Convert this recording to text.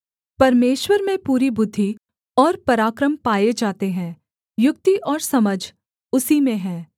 परमेश्वर में पूरी बुद्धि और पराक्रम पाए जाते हैं युक्ति और समझ उसी में हैं